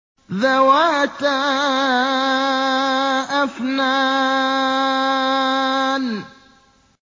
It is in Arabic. ذَوَاتَا أَفْنَانٍ